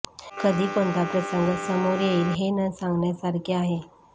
कधी कोणता प्रसंग समोर येईल हे न सांगण्यासारखे आहे